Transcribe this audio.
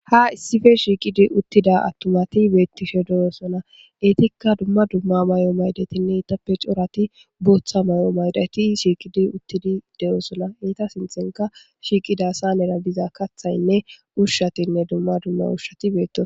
Ha issife shiiqidi uttida attumati beettishe de'osona eetikka dumma dumma may'o maydatinne itappe corati booththa may'o maydati shiiqidi uttidi de'osona eeta sinthenka shiiqida saanera biza kathaynne ushshatinne dumma dumma ushshati beettos